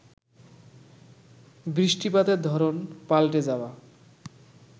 বৃষ্টিপাতের ধরন পাল্টে যাওয়া